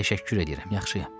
Təşəkkür edirəm, yaxşıyam.